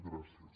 gràcies